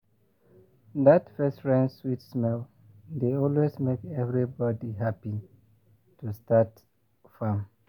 that first rain sweet smell dey always make everybody happy to start farm.